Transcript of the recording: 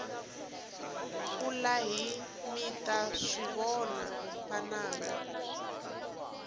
kulahi mita swivona vananga